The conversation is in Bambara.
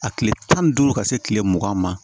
A tile tan ni duuru ka se kile mugan ma